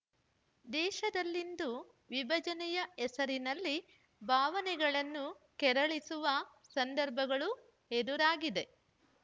ದೇಶದಲ್ಲಿಂದು ವಿಭಜನೆಯ ಹೆಸರಿನಲ್ಲಿ ಭಾವನೆಗಳನ್ನು ಕೆರಳಿಸುವ ಸಂದರ್ಭಗಳು ಎದುರಾಗಿದೆ